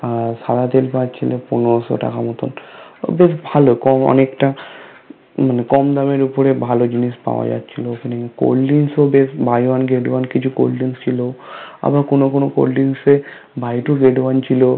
আর সাদা তেল পাচ্ছিলে পনেরোশো টাকা মতন বেশ ভালো কম অনেকটা মানে কম দামের উপরে ভালো জিনিস পাওয়া যাচ্ছিলো ওখানে Cold drinks এ ও বেশ Buy one get one কিছু Cold drinks ছিল আবার কোনো কোনো Cold drinks এ Buy two get one ছিল